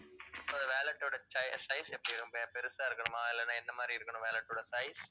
wallet ஓட chai~ size எப்படி இருக்கணும். பெருசா இருக்கணுமா இல்லைன்னா எந்த மாதிரி இருக்கணும் wallet ஓட size